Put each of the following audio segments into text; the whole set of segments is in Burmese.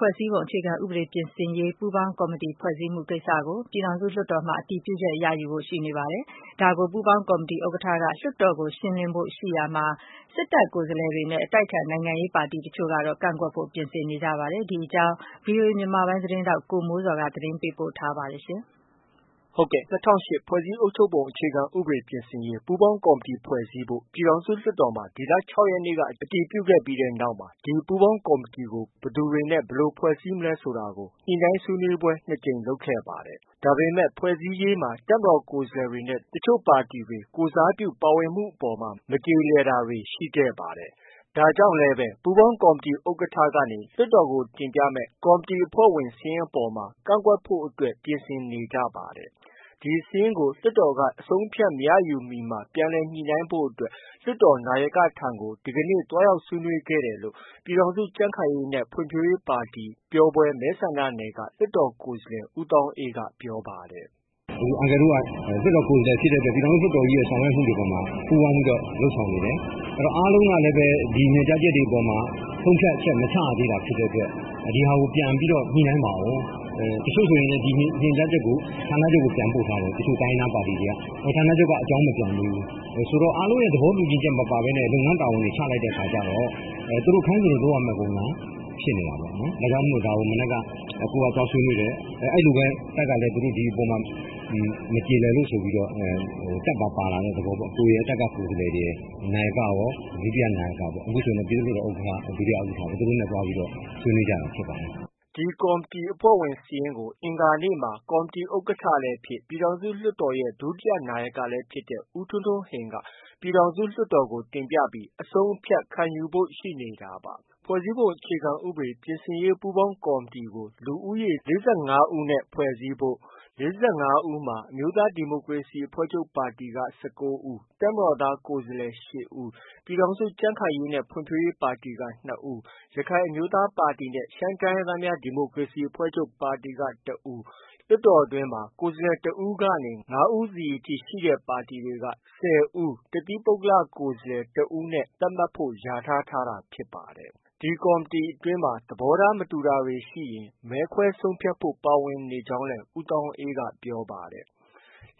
ဖွဲ့စည်းပုံအခြေခံဥပဒေပြင်ဆင်ရေး ပူးပေါင်းကော်မတီ ဖွဲ့စည်းမှုကိစ္စကို ပြည်ထောင်စုလွှတ်တော်မှာ အတည်ပြုချက်ယူဖို့ ရှိနေပါတယ်။ ဒါကို ပူးပေါင်းကော်မတီ ဥက္ကဋ္ဌက လွှတ်တော်ကို ရှင်းလင်းဖို့ရှိရာမှာ၊ စစ်တပ်ကိုယ်စားလှယ်တွေနဲ့ အတိုက်အခံနိုင်ငံရေးပါတီအချို့ကတော့ ကန့်ကွက်ဖို့ ပြင်နေကြပါတယ်။ ဒီအကြောင်း ဗွီအိုအေ မြန်မာပိုင်းသတင်းထောက် ကိုမိုးဇော်က သတင်းပေးပို့ထားပါတယ်။ ၂၀၀၈ ဖွဲ့စည်းအုပ်ချုပ်ပုံ အခြေခံဥပဒေပြင်ဆင်ရေး ပူးပေါင်းကော်မတီဖွဲ့စည်းဖို့ ပြည်ထောင်စုလွှတ်တော်မှာ ဒီလ ၆ ရက်နေ့က အတည်ပြုခဲ့ပြီးတဲ့နောက် ဒီပူးပေါင်းကော်မတီကို ဘယ်သူတွေနဲ့ ဘယ်လိုဖွဲ့စည်းမလဲ ဆိုတာကို ညှိနှိုင်းဆွေးနွေးပွဲ နှစ်ကြိမ် လုပ်ခဲ့ပါတယ်။ ဒါပေမဲ့ ဖွဲ့စည်းရေးမှာ တပ်မတော် ကိုယ်စားလှယ်တွေနဲ့ တချို့ပါတီတွေ ကိုယ်စားပြု ပါဝင်မှုအပေါ်မှာ မကျေလည်တာတွေ ရှိခဲ့ပါတယ်။ ဒါကြောင့်လည်းပဲ ပူးပေါင်း ကေ်ာမတီဥက္ကဋ္ဌကနေ လွှတ်တော်ကို တင်ပြမယ့် ကော်မတီအဖွဲ့ဝင်စာရင်းအပေါ်မှာ ကန့်ကွက်ဖို့အတွက် ပြင်နေကြပါတယ်။ ဒီစာရင်းကို လွှတ်တော်က အဆုံးအဖြတ်မရယူမီမှာ ပြန်လည်ညှိနှိုင်းဖို့အတွက် လွှတ်တော်နာယကထံကို ဒီကနေ့ သွားရောက်ဆွေးနွေးခဲ့တယ်လို့ ပြည်ထောင်စုကြံ့ခိုင်ရေးနဲ့ ဖွံ့ဖြိုးရေးပါတီ ပျော်ဘွယ်မဲဆန္ဒနယ်က လွှတ်တော်ကိုယ်စားလှယ် ဦးသောင်းအေးက ပြောပါတယ်။ “ အန်ကယ်တို့က လွှတ်တော်ကိုယ်စားလှယ်တွေဖြစ်တဲ့အတွက် ပြည်ထောင်စုလွှတ်တော်ကြီးရဲ့ လုပ်ဆောင်မှုတွေအပေါ်မှာ ပူးပေါင်းလုပ်ဆောင်နေတယ်။ အားလုံးကလည်းပဲ ဒီညွှန်ကြားချက်တွေအပေါ်မှာ ဆုံးဖြတ်ချက် မချရသေးတာဖြစ်တဲ့အတွက် ဒီဟာကို ပြန်ပြီးတော့ ညှိနှိုင်းပါအုံး။ တစ်ချို့ဆိုရင် ဒီညွှန်ကြားချက်ကို ဌာနချုပ်ကို ပြန်ပို့ထားတယ်။ ဌာနချုပ်က အကြောင်း မပြန်သေးဘူး။ ဆိုတော့ အားလုံးရဲ့သဘောတူညီချက်မပါဘဲနဲ့ လုပ်ငန်းတာဝန်တွေ ချလိုက်တဲ့အခါကျတော့ သူတို့ ခိုင်းသလို လုပ်ရမယ့် ပုံစံဖြစ်နေတာပေါ့နော်။ ဒါကြောင့်မို့ ဒါကို မနက်က ကိုယ်က သွားဆွေးနွေးတယ်။ အဲလိုပဲ တပ်ကလည်း သူတို့ ဒီအပေါ်မှာ မကျေလည်လို့ဆိုပြီး တပ်ပါ ပါလာတဲ့တဲ့သဘောပေါ့။ ကိုယ်ရယ်၊ တပ်က ကိုယ်စားလှယ်တွေရယ် နာယကရော၊ ဒုတိယနာယကရော၊ အခုဆိုရင်တော့ ပြည်သူ့လွှတ်တော် ဥက္ကဌ၊ ဒုဥက္ကဌပေါ့။ သူတို့နဲ့ သွားဆွေးနွေးကြတာဖြစ်ပါတယ်။” ဒီ ကော်မတီအဖွဲ့ဝင်စာရင်းကို အင်္ဂါနေ့မှာ ကော်မတီဥက္ကဋ္ဌလည်း ဖြစ်၊ ပြည်ထောင်စုလွှတ်တော်ရဲ့ ဒုတိယနာယကလည်းဖြစ်တဲ့ ဦးထွန်းထွန်းဟိန် က ပြည်ထောင်လွှတ်တော်ကို တင်ပြပြီး အဆုံးအဖြတ်ခံယူဖို့ ရှိနေတာပါ။ ဖွဲ့စည်းပုံအခြေခံဥပဒေပြင်ဆင်ရေး ပူးပေါင်းကော်မတီကို လူဦးရေ ၄၅ ဦးနဲ့ ဖွဲ့စည်းဖို့နဲ့ ၄၅ ဦးမှာ အမျိုးသားဒီမိုကရေစီအဖွဲ့ချုပ်ပါတီက ၁၉ဦး၊ တပ်မတော်သား ကိုယ်စားလှယ် ၈ဦး၊ ပြည်ထောင်စုကြံ့ခိုင်ရေးနဲ့ဖွံ့ဖြိုးရေးပါတီက ၂ဦး၊ ရခိုင်အမျိုးသားပါတီနဲ့ ရှမ်းတိုင်းရင်းသားများ ဒီမိုကရေစီအဖွဲ့ချုပ်ပါတီက ၁ဦး၊ လွှတ်တော်တွင်းမှာ ကိုယ်စားလှယ် ၁ဦးကနေ ၅ဦးစီအထိရှိတဲ့ ပါတီတွေက ၁၀ဦးနဲ့ တစ်သီးပုဂ္ဂလ ကိုယ်စားလှယ် ၁ဦးတို့နဲ့သတ်မှတ်ဖု့ိလျာ ထားခဲ့တာဖြစ်ပါတယ်။ ဒီကော်မတီအတွင်းမှာ သဘောထားမတူတာတွေရှိရင် မဲခွဲဆုံးဖြတ်ဖို့ ပါဝင်နေကြောင်းလည်း ဦးသောင်းအေးက ပြောပါတယ်။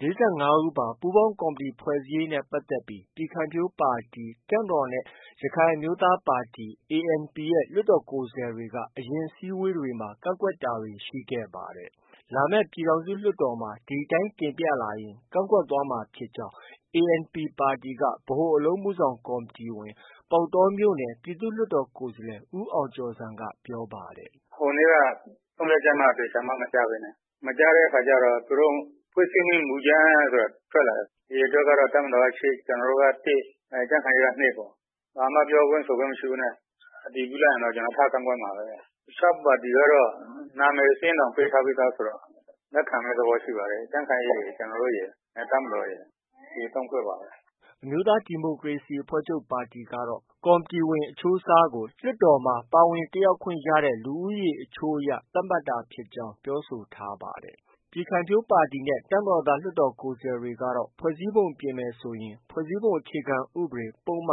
၄၅ ဦးပါ ပူးပေါင်းကော်မတီ ဖွဲ့စည်းရေးနဲ့ပတ်သက်ပြီး ပြည်ခိုင်ဖြိုးပါတီ၊ တပ်မတော်နဲ့ ရခိုင်အမျိုးသားပါတီ ANP လွှတ်တော်ကိုယ်စားလှယ်တွေက အရင်အစည်းအဝေးတွေမှာ ကန့်ကွက်တာတွေ ရှိခဲ့ပါတယ်။ လာမယ့် ပြည်ထောင်စုလွှတ်တော်မှာ ဒီအတိုင်း တင်ပြလာရင် ကန့်ကွက်သွားမှာဖြစ်ကြောင်း ANP ပါတီက ဗဟိုအလုပ်အမှုဆောင်ကော်မတီဝင်၊ ပေါက်တောမြို့နယ် ပြည်သူ့လွှတ်တော်ကိုယ်စားလှယ် ဦးအောင်ကျော်ဇံက ပြောပါတယ်။ “ ဟိုနေ့က ဆုံးဖြတ်ချက်မှ သေချာမှ မကျဘဲနဲ့။ မကျတဲ့အခါကျတော့ သူတို့ ဖွဲ့စည်းမယ့် မူကြမ်းဆိုတာထွက်လာတယ်။ အရေအတွက်ကတော့ တပ်မတော်တော်က ၈၊ ကျနော်တို့က ၁၊ ကြံ့ခိုင်ရေးက ၂ ပေါ့။ ဘာမှ ပြောခွင့်ဆိုခွင့်မရှိဘဲနဲ့ အတည်ပြုလိုက်ရင်တော့ ထကန့်ကွက်မှာပဲ။ အခြားပါတီကတော့ နံမည်စာရင်းတောင် ပေးပြီးသားဆိုတော့ လက်ခံမယ့် သဘောရှိပါတယ်။ ကြံ့ခိုင်ရေးရယ်၊ ကျနော်တို့ရယ်၊ တပ်မတော်ရယ် ဒီ ၃ဖွဲ့ပါပဲ။” အမျိုးသားဒီမိုကရေစီအဖွဲ့ချုပ်ပါတီကတော့ ကော်မတီဝင် အချိုးအစားကို လွှတ်တော်မှာ ပါဝင်တက်ရောက်ခွင့် ရတဲ့ လူဦးရေအချိုးအရ သတ်မှတ်တာဖြစ်ကြောင်း ပြောဆိုထားပါတယ်။ ပြည်ခိုင်ဖြိုးပါတီနဲ့ တပ်မတော်သားလွှတ်တော်ကိုယ်စားလှယ်တွေကတော့ ဖွဲ့စည်းပုံပြင်ဆင်မယ်ဆိုရင် ဖွဲ့စည်းပုံအခြေခံဥပဒေ ပုဒ်မ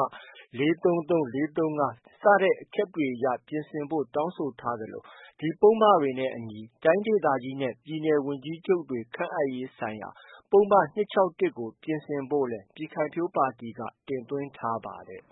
၄၃၃၊ ၄၃၄ စတဲ့အချက်တွေအရ ပြင်ဆင်ဖို့ တောင်းဆိုထားသလို၊ ဒီပုဒ်မတွေနဲ့အညီ တိုင်းဒေသကြီးနဲ့ ပြည်နယ် ဝန်ကြီးချုပ်တွေ ခန့်အပ်ရေးဆိုင်ရာ ပုဒ်မ ၂၆၁ကို ပြင်ဆင်ဖို့လည်း ပြည်ခိုင်ဖြိုးပါတီက တင်သွင်းထားပါတယ်